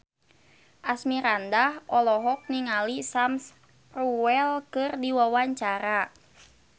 Asmirandah olohok ningali Sam Spruell keur diwawancara